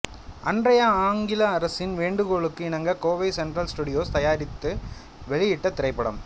அன்றைய ஆங்கில அரசின் வேண்டுகோளுக்கு இணங்க கோவை சென்ட்ரல் ஸ்டூடியோஸ் தயாரித்து வெளியிட்டத் திரைப்படம்